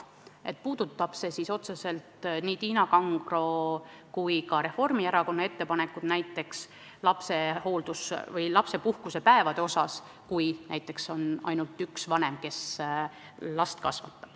See puudutab otseselt nii Tiina Kangro kui ka Reformierakonna ettepanekuid näiteks lapsepuhkusepäevade kohta, kui näiteks ainult üks vanem last kasvatab.